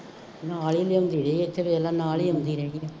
ਨਾਲ ਹੀ ਲਿਆਉਂਦੀ ਰਹੀ ਹੈ, ਇੱਥੇ ਦੇਖ ਲੈ ਨਾਲ ਹੀ ਆਉਂਦੀ ਰਹੀ ਹੈ।